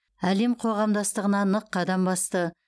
әлем қоғамдастығына нық қадам басты